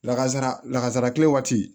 Lakazara lakazara kile waati